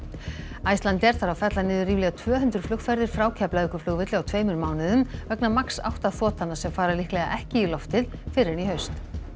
Icelandair þarf að fella niður ríflega tvö hundruð flugferðir frá Keflavíkurflugvelli á tveimur mánuðum vegna MAX átta þotanna sem fara líklega ekki í loftið fyrr en í haust